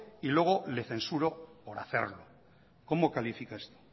y luego le censuro por hacerlo cómo califica esto